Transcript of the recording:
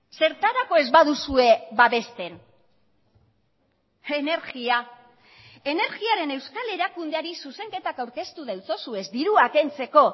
zertarako ez baduzue babesten energia energiaren euskal erakundeari zuzenketak aurkeztu deutzozuez dirua kentzeko